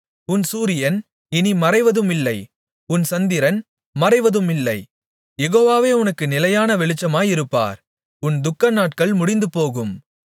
உன் சூரியன் இனி மறைவதுமில்லை உன் சந்திரன் மறைவதுமில்லை யெகோவாவே உனக்கு நிலையான வெளிச்சமாயிருப்பார் உன் துக்கநாட்கள் முடிந்துபோகும்